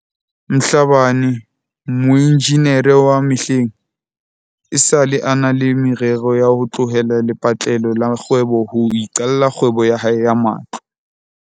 Mhlabane, moenjinere wa mehleng, esale a na le me rero ya ho tlohela lepatlelo la kgwebo ho iqalla kgwebo ya hae ya matlo.